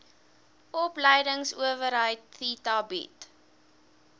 opleidingsowerheid theta bied